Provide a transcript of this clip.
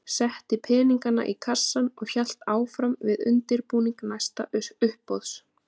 Setti peningana í kassann og hélt áfram við undirbúning næsta uppboðs.